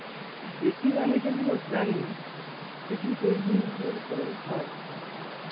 betting আমি যেগুলো জানি betting তো কি ওই জিনিস গুলোর ওপরে হয়.